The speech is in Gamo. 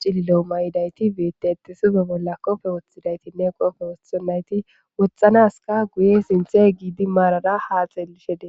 cililo mayidayti beette ete suzo bolla kofe woththidaytinne qofe wothonnayti wotxanaska guye sinthe giidi maarara haa xeelishede